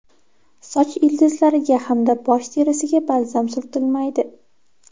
Soch ildizlariga hamda bosh terisiga balzam surtilmaydi.